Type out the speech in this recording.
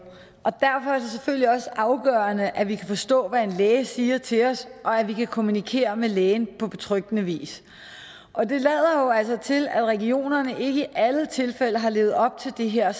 og derfor er selvfølgelig også afgørende at vi kan forstå hvad en læge siger til os og at vi kan kommunikere med lægen på betryggende vis og det lader altså til at regionerne ikke i alle tilfælde har levet op til det her